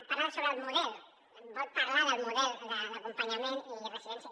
parla sobre el model vol parlar del model d’acompanyament i residència